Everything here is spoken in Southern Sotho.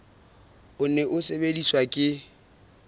o ne o sebediswa ke